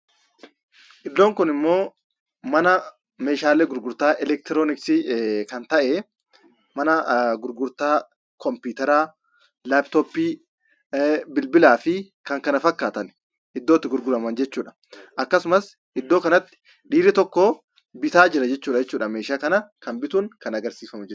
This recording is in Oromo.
Iddoon kunimmoo mana meeshaalee gurgurtaa elektirooniksii kan ta'e; mana gurgurtaa kompiitaraa, laptoppii, bilbilaa fi kan kana fakkaatan iddootti gurguramanidha. Akkasumas iddoo kanatti dhiirri tokko bitaa jira jechuudha. Meeshaa kana kan bituun kan agarsiifamu jechuudha.